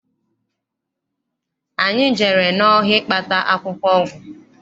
Anyị jere n'ọhịa ịkpata akwụkwọ ọgwụ.